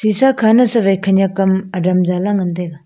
shisha kha ma sewaI khanyak am adam zala ngan taiga.